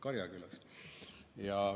Karjakülas.